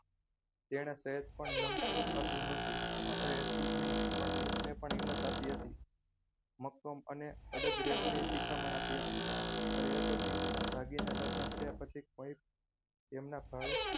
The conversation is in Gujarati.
તેને તું સેજ પણ નમતું આપ્યું ન હતું માત્ર એટલું જ નહીં પણ અનુપને પણ હિંમત આપી હતી. મક્કમ અને અડગ રહેવાની શિખામણ આપી હતી. અરે એ તો ઠીક પણ ભાગીને લગ્ન થયા પછી કોઈ એમના ભાડે